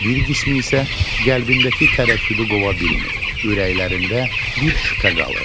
Bir qismi isə qəlbindəki tərəddüdü qova bilmir, ürəklərində bir şübhə qalır.